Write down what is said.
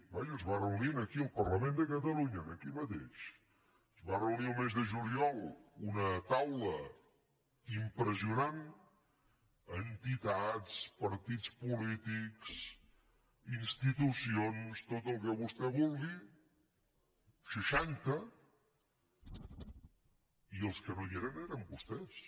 vaja es va reunir aquí al parlament de catalunya aquí mateix el mes de juliol una taula impressionant entitats partits polítics institucions tot el que vostè vulgui seixanta i els que no hi eren eren vostès